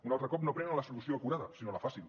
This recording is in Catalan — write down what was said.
un altre cop no prenen la solució acurada sinó la fàcil